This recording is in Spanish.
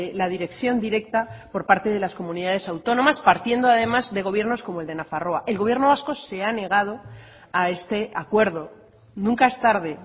la dirección directa por parte de las comunidades autónomas partiendo además de gobiernos como el de nafarroa el gobierno vasco se ha negado a este acuerdo nunca es tarde